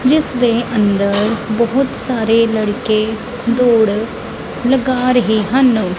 ਜਿਸ ਦੇ ਅੰਦਰ ਬਹੁਤ ਸਾਰੇ ਲੜਕੇ ਦੌੜ ਲਗਾ ਰਹੇ ਹਨ।